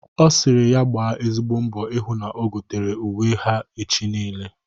Ọ sịrị ya gba ezigbo mbọ ịhụ na o gotere uwe ha echi niile.